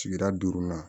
Sigida duurunan